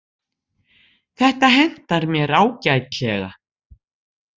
Þetta hentar mér ágætlega.